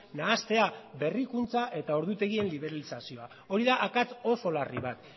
nahastea berrikuntza eta ordutegien liberalizazioa hori da akats oso larri bat